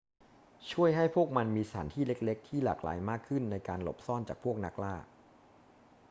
ช่วยให้พวกมันมีสถานที่เล็ก ๆ ที่หลากหลายมากขึ้นในการหลบซ่อนจากพวกนักล่า